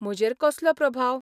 म्हजेर कसलो प्रभाव?